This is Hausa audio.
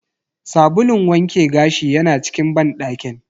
Sabulun wanke gashi yana cikin banɗakin.